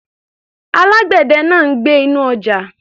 Alágbẹ̀dẹ̀ ń gbẹ́ inú ọjà.